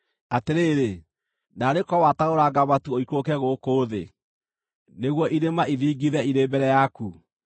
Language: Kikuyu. Atĩrĩrĩ, naarĩ korwo watarũranga matu ũikũrũke gũkũ thĩ, nĩguo irĩma ithingithe irĩ mbere yaku!